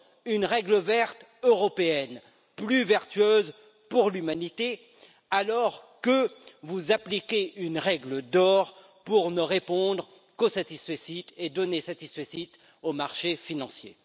Une règle verte européenne, plus vertueuse pour l'humanité, alors que vous appliquez une règle d'or pour ne répondre qu'aux satisfecit et donner satisfecit aux marchés financiers.